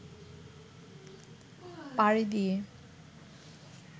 পাড়ি দিয়ে